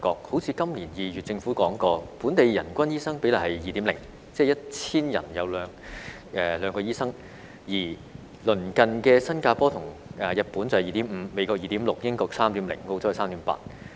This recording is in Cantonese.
好像今年2月政府曾說過，本地人均醫生比例是 2.0， 即是 1,000 人有兩名醫生，而鄰近的新加坡和日本是 2.5， 美國是 2.6， 英國是 3.0， 澳洲是 3.8。